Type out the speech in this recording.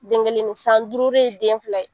Den kelen san duuru ye den fila ye.